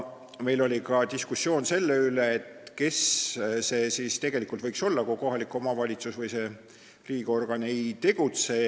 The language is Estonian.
Meil oli diskussioon selle üle, kes see siis tegelikult võiks olla, kui kohalik omavalitsus või see riigiorgan ei tegutse.